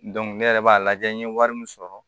ne yɛrɛ b'a lajɛ n ye wari min sɔrɔ